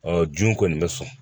Ɔ jun kɔni bɛ sɔn